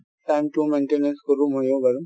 time টোও maintenance কৰো মইয়ো বাৰু |